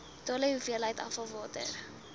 totale hoeveelheid afvalwater